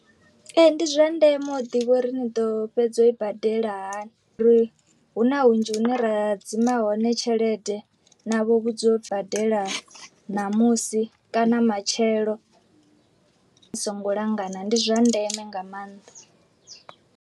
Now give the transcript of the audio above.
Ee ndi zwa ndeme u ḓivha uri ni ḓo fhedza u i badela hani ri huna hunzhi hune ra hadzima hone tshelede na vho vhudziwa u badela ṋamusi kana matshelo, songo langana ndi zwa ndeme nga maanḓa.